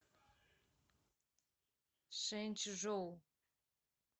шэнчжоу